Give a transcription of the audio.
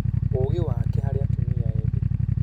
Ũũgĩ wake harĩ atumia ethĩ?